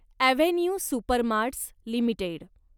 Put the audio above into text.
avenue supermarts limited